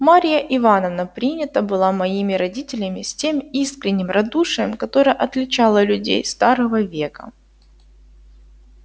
марья ивановна принята была моими родителями с тем искренним радушием которое отличало людей старого века